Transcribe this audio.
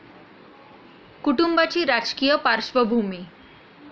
कुटुंबाची राजकीय पार्श्वभूमी